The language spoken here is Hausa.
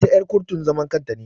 Ita er kurtun zaman kanta ne.